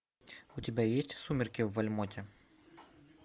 у тебя есть сумерки в вальмонте